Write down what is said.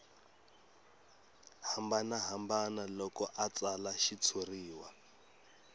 hambanahambana loko a tsala xitshuriwa